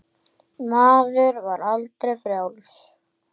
Maður var aldrei frjáls.